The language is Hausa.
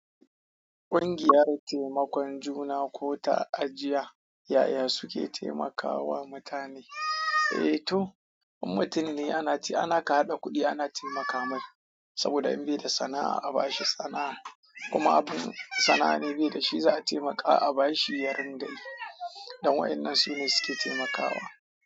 Ƙungiyar taimakon juna ko ta ajiya, ƴa'ƴa su ke taimakawa mutane. Eh to, in mutum ne ana ce ana ka haɗa kuɗi ana taimaka mai saboda in bai da sana'a a bashi sana'a. Kuma abin sana'a ne bai da shi za a taimaka a bashi yarinda. Don waɗannan su ne suke taimakawa.